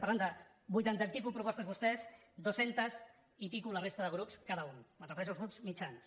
parlem de vuitanta i escaig propostes vostès dues centes i escaig la resta de grups cada un em refereixo als grups mitjans